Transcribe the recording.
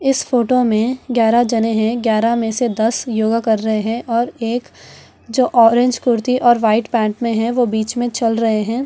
इस फोटो में ग्यारह जाने हैं ग्यारह में से दस योगा कर रहे हैं और एक जो ऑरेंज कुर्ती और वाइट पैंट में है वो बीच में चल रहे हैं।